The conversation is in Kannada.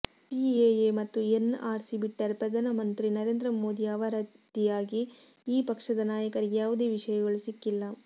ಸಿಎಎ ಮತ್ತು ಎನ್ಆರ್ ಸಿ ಬಿಟ್ಟರೆ ಪ್ರಧಾನಮಂತ್ರಿ ನರೇಂದ್ರ ಮೋದಿ ಅವರಾದಿಯಾಗಿ ಈ ಪಕ್ಷದ ನಾಯಕರಿಗೆ ಯಾವುದೇ ವಿಷಯಗಳು ಸಿಕ್ಕಿಲ್ಲ